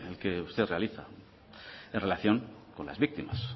que usted realiza en relación con las víctimas